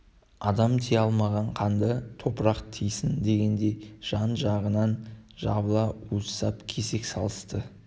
адам тия алмаған қанды топырақ тыйсын дегендей жан-жағынан жабыла уыстап кесек салысты